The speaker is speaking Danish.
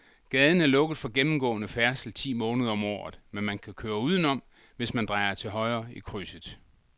Gaden er lukket for gennemgående færdsel ti måneder om året, men man kan køre udenom, hvis man drejer til højre i krydset.